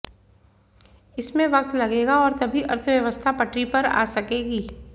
इसमें वक्त लगेगा और तभी अर्थव्यवस्था पटरी पर आ सकेगी